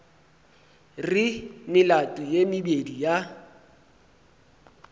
re melato ye mebedi ya